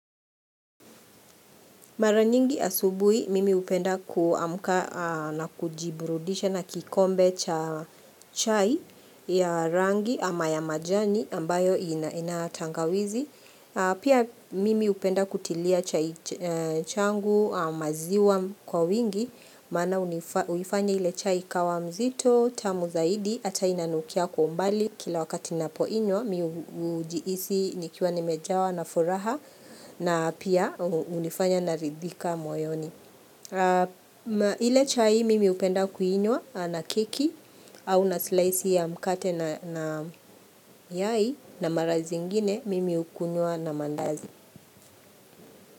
Mara nyingi asubuhi, mimi hupenda kuamka na kujiburudisha na kikombe cha chai ya rangi ama ya majani ambayo ina tangawizi. Pia mimi hupenda kutilia chai changu maziwa kwa wingi, maana huifanya ile chai ikawa mzito, tamu zaidi, ata inanukia kwa umbali. Kila wakati napoinywa mi hujihisi nikiwa nimejawa na furaha na pia hunifanya naridhika moyoni ile chai mimi hupenda kuinywa na keki au na slice ya mkate na yai na mara zingine mimi hukunywa na mandazi.